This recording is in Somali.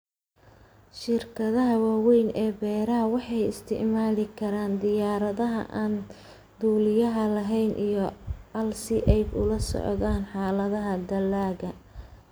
Shirkadaha waaweyn ee beeraha waxay isticmaali karaan diyaaradaha aan duuliyaha lahayn iyo AI si ay ula socdaan xaaladaha dalagga.